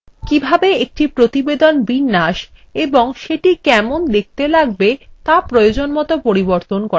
একটি প্রতিবেদনের বিন্যাস এবং সেটি কেমন দেখতে লাগবে তা প্রয়োজনমত পরিবর্তন করা যায়